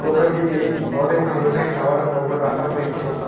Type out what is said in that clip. কুড়াটিতে অনেক ধরনের খাওয়ার পণ্য রাখা হয়েছে।